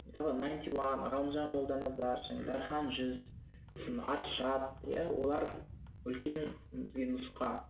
мысалы найнти уан ғалымжан молданазар және дархан жүз сосын аршат иә олар үлкен бізге нұсқа